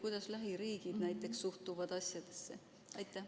Kuidas lähiriigid suhtuvad asjasse?